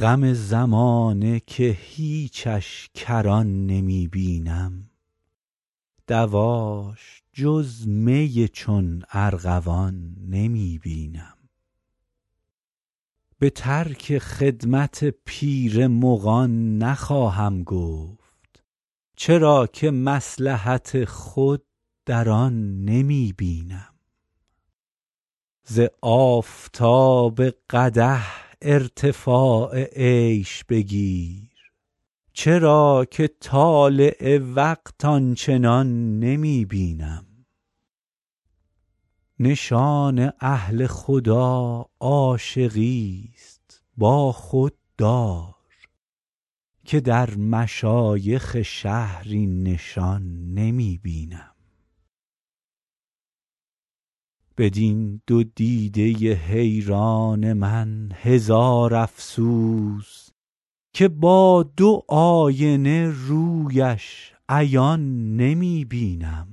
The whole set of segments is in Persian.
غم زمانه که هیچش کران نمی بینم دواش جز می چون ارغوان نمی بینم به ترک خدمت پیر مغان نخواهم گفت چرا که مصلحت خود در آن نمی بینم ز آفتاب قدح ارتفاع عیش بگیر چرا که طالع وقت آن چنان نمی بینم نشان اهل خدا عاشقیست با خود دار که در مشایخ شهر این نشان نمی بینم بدین دو دیده حیران من هزار افسوس که با دو آینه رویش عیان نمی بینم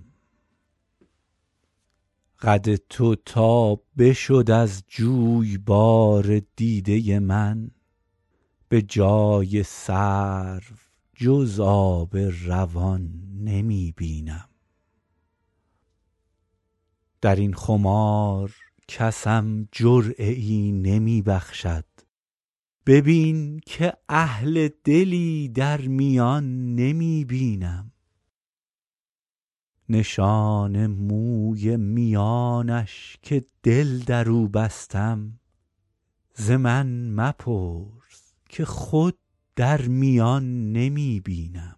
قد تو تا بشد از جویبار دیده من به جای سرو جز آب روان نمی بینم در این خمار کسم جرعه ای نمی بخشد ببین که اهل دلی در میان نمی بینم نشان موی میانش که دل در او بستم ز من مپرس که خود در میان نمی بینم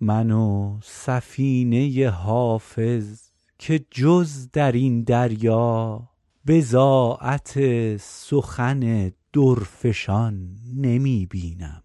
من و سفینه حافظ که جز در این دریا بضاعت سخن درفشان نمی بینم